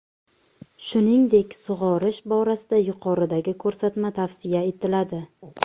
Shuningdek, sug‘orish borasida yuqoridagi ko‘rsatma tavsiya etiladi.